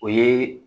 O ye